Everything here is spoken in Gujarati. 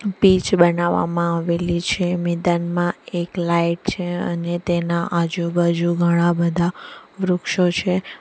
પિચ બનાવામાં આવેલી છે મેદાનમાં એક લાઇટ છે અને તેના આજુબાજુ ઘણા બધા વૃક્ષો છે.